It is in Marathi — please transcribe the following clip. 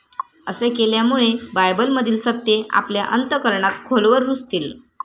असे केल्यामुळे बायबलमधील सत्ये आपल्या अंतःकरणात खोलवर रुजतील.